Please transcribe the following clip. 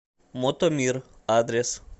мотомир адрес